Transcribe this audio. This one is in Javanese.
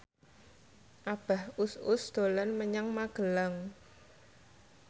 Abah Us Us dolan menyang Magelang